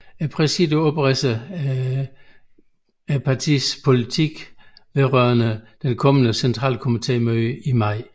Præsidiet opridser partiets politik vedrørende det kommende centralkomitémøde i maj